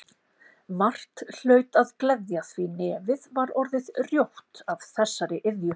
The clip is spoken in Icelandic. Margt hlaut að gleðja því nefið var orðið rjótt af þessari iðju.